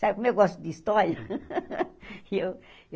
Sabe como eu gosto de história? e eu